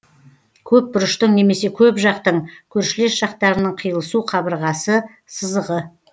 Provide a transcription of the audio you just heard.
көпбұрыштың немесе көпжақтың көршілес жақтарының қиылысу қабырғасы сызығы